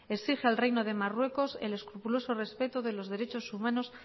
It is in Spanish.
exige al reino de marruecos el escrupuloso respeto de los derechos humanos